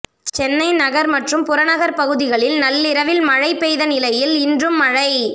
சென்னை நகர் மற்றும் புறநகர் பகுதிகளில் நள்ளிரவில் மழை பெய்த நிலையில் இன்றும் மழை